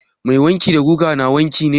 Mai wanki da gugan na wanki ne?